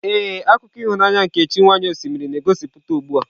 Ee, akụkọ ịhụnanya nke chi nwanyị osimiri na-egosipụta ugbu a.